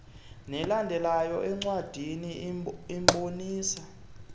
nelandelayo encwadini ibonisa